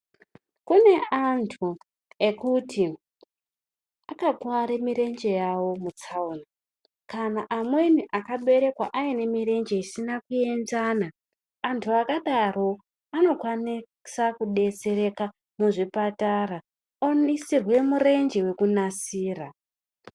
Kune antu ekuti akakuware mirenje yawo mutsaona, kana amweni akaberekwa aine mirenje isina kuenzana. Antu akadaro anokwanisa kubetsereka muzvipatara ondoisirwe mirenje yekunasira.